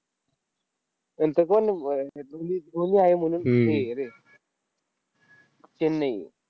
नंतर कोण ब धोनी धोनी आहे म्हणून हे आहे रे, चेन्नई.